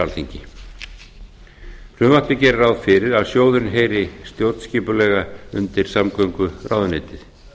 alþingi frumvarpið gerir ráð fyrir að sjóðurinn heyri stjórnskipulega undir samgönguráðuneytið